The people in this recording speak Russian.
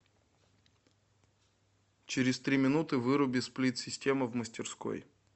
через три минуты выруби сплит система в мастерской